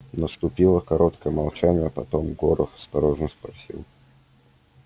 наступило короткое молчание потом горов осторожно спросил